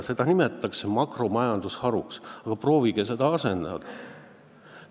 Seda nimetatakse mikromajandusharuks, aga proovige seda asendada!